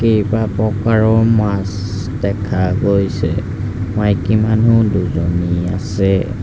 কেইবাপ্ৰকাৰ মাছ দেখা গৈছে মাইকী মানুহ দুজনী আছে।